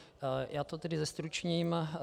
Já to tedy zestručním.